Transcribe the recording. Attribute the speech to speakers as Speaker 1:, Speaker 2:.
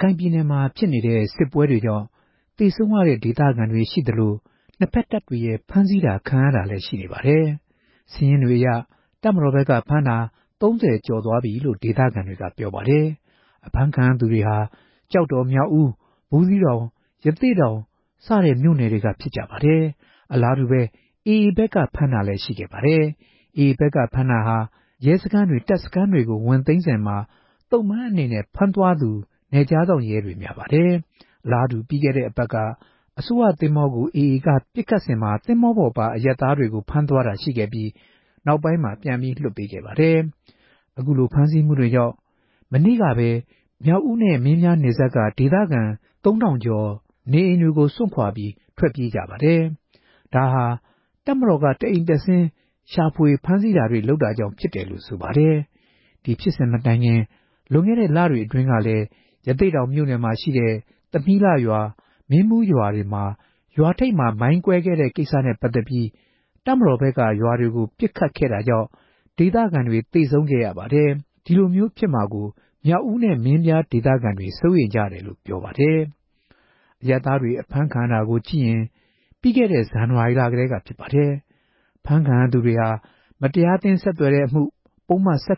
Speaker 1: ခိုင်ပြည်နယ်မှာ ဖြစ်နေတဲ့ စစ်ပွဲကြောင့် သေဆုံးရတဲ့ ဒေသခံတွေ ရှိသလို နှစ်ဘက်တပ်တွေရဲ့ ဖမ်းဆီးခံရတာတွေလည်း ရှိနေပါတယ်။ စာရင်းတွေအရ တပ်မတော်ဘက်က ဖမ်းတာ အယောက် ၃ဝကျော်သွားပြီလို့ ဒေသခံတွေက ပြောပါတယ်။ အဖမ်းခံရသူတွေဟာ ကျောက်တော်၊ မြောက်ဦး၊ ဘူးသီးတောင်၊ ရသေ့တောင် မြို့နယ်တွေက များကြပါတယ်။ အလားတူ AA ဘက်ကလည်း ဖမ်းတာတွေ ရှိခဲ့ပါတယ်။ AA က ဖမ်းခဲ့တာဟာ ရဲစခန်းတွေ တပ်စခန်းတွေကို ဝင်သိမ်းစဉ် သ့ုံပန်းအနေနဲ့ ဖမ်းသွားသူ နယ်ခြားစောင့် ရဲတွေများပါတယ်။ အလားတူ ပြီးခဲ့တဲ့ အပတ်အတွင်း အစိုးရ သင်္ဘောကို AA က ပစ်ခတ်စဉ် သင်္ဘောပေါ်ပါ အရပ်သားတွေကို ဖမ်းသွားတာရှိခဲ့ပြီး နောက်ပိုင်း ပြန်လွှတ်ပေးခဲ့ပါတယ်။ အခုလို ဖမ်းဆီးမှုတွေကြောင့် မနေ့ကပဲ မြောက်ဦးနဲ့ မင်းပြားနယ်စပ်က ဒေသခံ ၃ဝဝဝ ကျော် နေအိမ်တွေကို စွန့်ခွာထွက်ပြေးကြပါတယ်။ ဒါဟာ တပ်မတော်က တအိမ်တက်ဆင်း ရှာဖွေတာ ဖမ်းဆီးတာတွေ လုပ်တာကြောင့် ဖြစ်တယ်လို့ ဆိုပါတယ်။ ဒီဖြစ်စဉ်မတိုင်ခင် လွန်ခဲ့တဲ့ လတွေ အတွင်းကလည်း ရသေ့တောင်မြို့နယ်ရှိ သမီးလှရွာ၊ မင်းဘူးရွာတွေမှာ ရွာထိပ်မှာ မိုင်းကွဲခဲ့တဲ့ ကိစ္စနဲ့ ပတ်သက်ပြီး တပ်မတော်ဘက်က ရွာဘက်ကို ပစ်ခတ်ခဲ့တာကြောင့် ဒေသခံတွေ သေဆုံးခဲ့ရပါတယ်။ ဒီလိုမျိုး ဖြစ်မှာကို မြောက်ဦးနဲ့ မင်းပြားဒေသခံတွေ စိုးရိမ်တယ်လို့ ပြောပါတယ်။ အရပ်သားတွေ အဖမ်းခံရတာတွေကို ကြည့်ရင် ပြီးခဲ့တဲ့ ဇန်နဝါရီလကတည်းက ဖြစ်ပါတယ်။ ဖမ်းဆီးခံရသူတွေဟာ မတရားအသင်းဆက်သွယ်မှု၊ ပုဒ်မ ၁